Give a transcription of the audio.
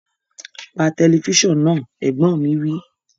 Pa tẹlifísàn náà! Ẹ̀gbọ́n mi wí